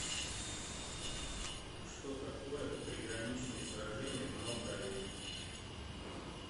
что такое приграничные сражения в молдавии